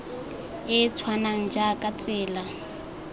e e tshwanang jaaka tsela